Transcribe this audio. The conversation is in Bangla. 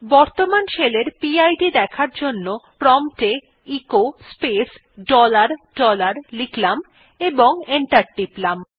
বর্তমান শেলের পি আই ডি দেখার জন্য প্রম্পট এ এচো স্পেস ডলার ডলার লিখলাম এবং এন্টার টিপলাম